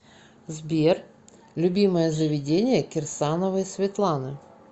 сбер любимое заведение кирсановой светланы